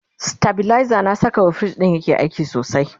stabilizer na Saka wa fridge ɗin yake aiki sosai